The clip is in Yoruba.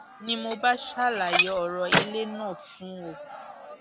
ni mo bá ṣàlàyé ọrọ ilé náà fún un o